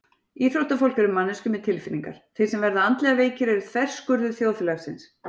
Íþróttafólk eru manneskjur með tilfinningar Þeir sem verða andlega veikir eru þverskurður þjóðfélagsins.